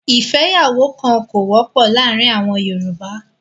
ìfẹ́yàwókan kò wọ́pọ̀ láàárín àwọn Yorùbá.